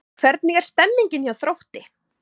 Hvernig er stemningin hjá Þrótti?